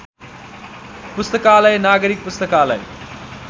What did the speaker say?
पुस्तकालय नागरिक पुस्तकालय